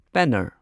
ꯄꯦꯟꯅꯔ